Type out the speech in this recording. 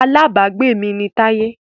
Alábágbé mi ni Táyé